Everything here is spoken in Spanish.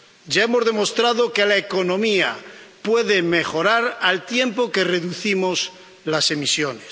Ya hemos demostrado que la economía puede mejorar al tiempo que reducimos las emisiones.